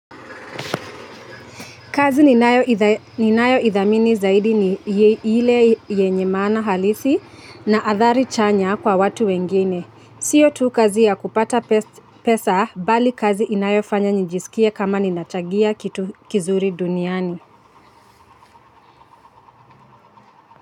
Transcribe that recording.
Kazi ninayo idhamini zaidi ni ile yenye maana halisi na athari chanya kwa watu wengine. Sio tu kazi ya kupata pesa bali kazi inayo fanya nijisikie kama ninachangia kitu kizuri duniani.